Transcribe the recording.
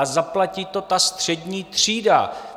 A zaplatí to ta střední třída!